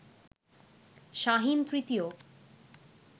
শাহীন তৃতীয়